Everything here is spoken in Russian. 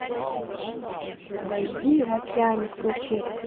дожди в океане включи